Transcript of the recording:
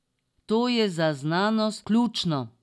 To je za znanost ključno.